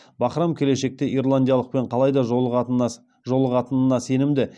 бахрам келешекте ирландиялықпен қалайда жолығатынына сенімді